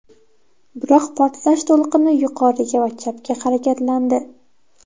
Biroq portlash to‘lqini yuqoriga va chapga harakatlandi.